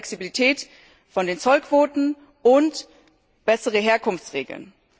bei der Flexibilität von Zollquoten und besseren Herkunftsregeln.